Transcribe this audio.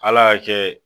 Ala y'a kɛ